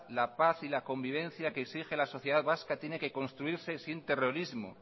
la paz y la convivencia que exige la sociedad vasca tiene que construirse sin terrorismo